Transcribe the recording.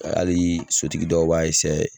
Hali sotigi dɔw b'a